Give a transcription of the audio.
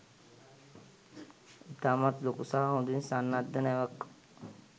ඉතාමත් ලොකු සහ හොඳින් සන්නද්ධ නැවක්.